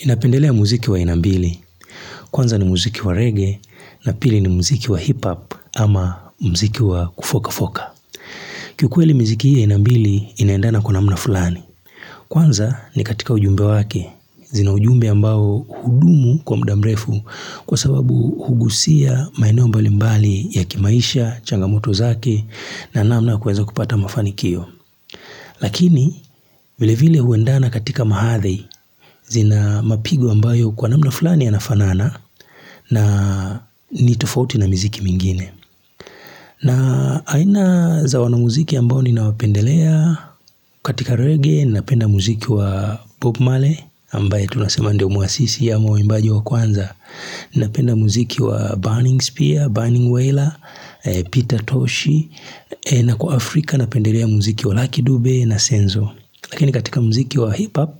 Ninapendelea muziki wa aina mbili, kwanza ni muziki wa reggae na pili ni muziki wa hip-hop ama muziki wa kufoka-foka. Kikuweli muziki hii ya aina mbili inaendana kwa namna fulani. Kwanza ni katika ujumbe wake, zina ujumbe ambao hudumu kwa muda mrefu kwasababu hugusia maeneo mbalimbali ya kimaisha, changamoto zake na namna ya kuweza kupata mafanikio. Lakini vilevile huendana katika hadhi zina mapigo ambayo kwa namna fulani yanafanana na nitofauti na miziki mingine. Na aina za wanamuziki ambao ninawapendelea katika reggae na penda muziki wa bob marley ambaye tunasema ndio muasisi ama waimbaji wa kwanza. Napenda muziki wa burning spear, burning whaler, Peter tosh. Na kwa Afrika napendelea muziki wa lucky dube na senzo. Lakini katika muziki wa hip-hop,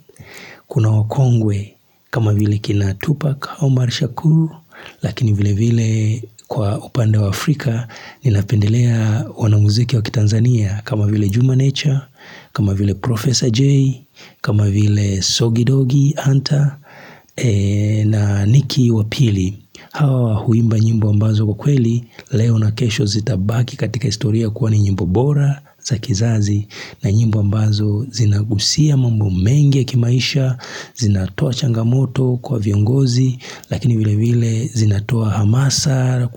kuna wakongwe kama vile akina Tupac Omar Shakur, lakini vilevile kwa upande wa Afrika, ninapendelea wanamuziki wa kiTanzania kama vile Juma nature, kama vile Professor J, kama vile Soggy Doggy Hunter, na Niki wa pili. Hawa huimba nyimbo ambazo kwa kweli leo na kesho zitabaki katika historia kuwa ni nyimbo bora za kizazi na nyimbo ambazo zinagusia mambo mengi ya kimaisha, zinatoa changamoto kwa viongozi lakini vilevile zinatoa hamasa.